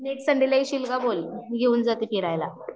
next Sunday ला येशील का बोल, मी घेऊन जाते फिरायला